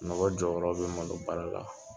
Mɔgɔ jɔyɔrɔ be malo baara la